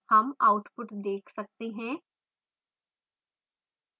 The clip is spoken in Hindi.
हम output देख सकते हैं